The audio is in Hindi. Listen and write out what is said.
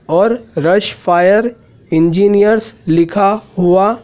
और रस फायर इंजीनियर्स लिखा हुआ--